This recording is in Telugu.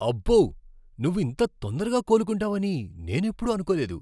అబ్బో! నువ్వు ఇంత తొందరగా కోలుకుంటావని నేనెప్పుడూ అనుకోలేదు.